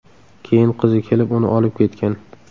Keyin qizi kelib uni olib ketgan”.